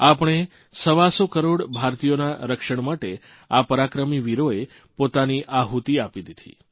આપણે સવાસો કરોડ ભારતીયોના રક્ષણ માટે આ પરાક્રમી વીરોએ પોતાની આહુતી આપી દીધી